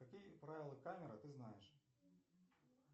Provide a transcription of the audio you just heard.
какие правила камера ты знаешь